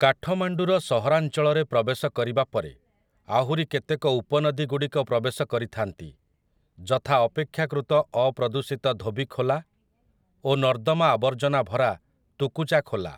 କାଠମାଣ୍ଡୁର ସହରାଞ୍ଚଳରେ ପ୍ରବେଶ କରିବା ପରେ ଆହୁରି କେତେକ ଉପନଦୀଗୁଡ଼ିକ ପ୍ରବେଶ କରିଥାନ୍ତି, ଯଥା ଅପେକ୍ଷାକୃତ ଅପ୍ରଦୂଷିତ ଧୋବି ଖୋଲା ଓ ନର୍ଦ୍ଦମା ଆବର୍ଜନା ଭରା ତୁକୁଚା ଖୋଲା ।